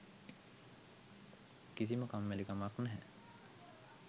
කිසිම කම්මැලිකමක් නැහැ.